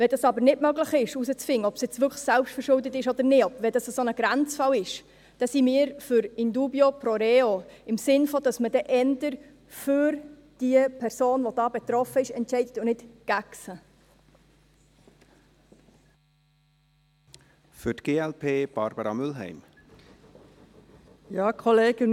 Wenn es aber nicht möglich ist, herauszufinden, ob es wirklich selbstverschuldet ist oder nicht, wenn es ein Grenzfall ist, sind wir für «in dubio pro reo», in dem Sinn, dass man eher die betroffene Person entscheidet und nicht gegen sie.